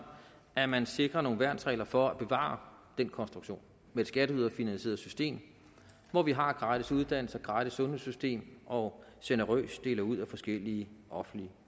at man sikrer nogle værnsregler for at bevare den konstruktion med et skatteyderfinansieret system hvor vi har gratis uddannelse og gratis sundhedssystem og generøst deler ud af forskellige offentlige